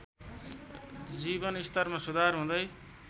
जीवनस्तरमा सुधार हुँदै